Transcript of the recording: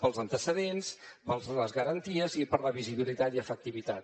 pels antecedents per les garanties i per la visibilitat i efectivitat